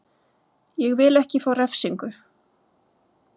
Ég vil ekki fá refsingu.